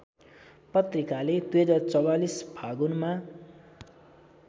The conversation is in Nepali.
पत्रिकाले २०४४ फागुनमा